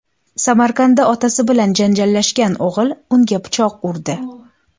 Samarqandda otasi bilan janjallashgan o‘g‘il unga pichoq urdi.